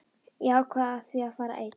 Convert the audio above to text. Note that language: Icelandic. Ég ákvað því að fara einn.